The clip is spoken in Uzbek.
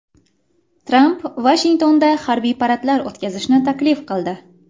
Tramp Vashingtonda harbiy paradlar o‘tkazishni taklif qildi.